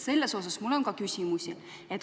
Selle kohta on mul ka küsimusi.